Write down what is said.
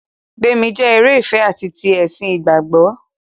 Gbémi jẹ́ eré ìfẹ ati ti ẹ̀sìn ìgbàgbọ́.